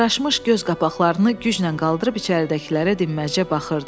Ağırlaşmış göz qapaqlarını gücnən qaldırıb içəridəkilərə dinməzcə baxırdı.